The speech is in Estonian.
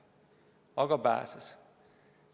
Aga pääses.